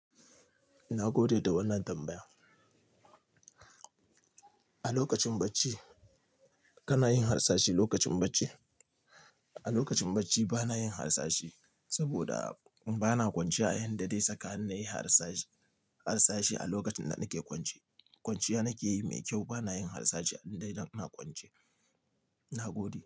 Nagode da wannan tambaya. A lokacin bacci, kana yin harsashi lokacin bacci? A lokacin bacci bana yin harsashe saboda bana kwanciya a yayin da dai saka ni nayi harsashe, harsashe a lokacin da nake kwance. Kwanciya nake yi mai kyau bana yin harsashe a indai dan ina kwance. Nagode.